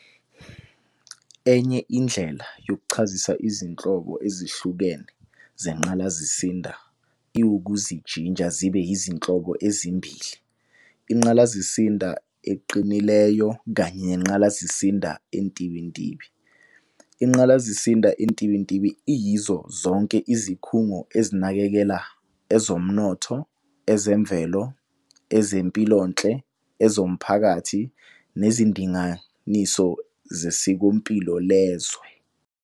Enye indlela yokuchazisa izinhlobo ezihlukene zengqalasizinda iwukuzijinja zibe izinhlobo ezimbili- ingqalasizinda eqinileyo kanye nengqalasizinda entibintibi. Ingqalasizinda entibintibi iyizo zonke izikhungo ezinakekela ezomnotho, ezemvelo, ezempilonhle, ezomphakathi, nezindinganiso zesikompilo lezwe.